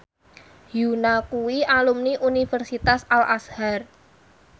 Yoona kuwi alumni Universitas Al Azhar